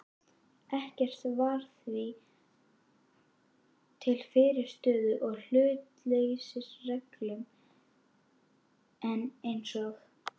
Ekkert var því til fyrirstöðu í hlutleysisreglum, en eins og